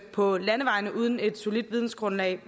på landevejene uden et solidt vidensgrundlag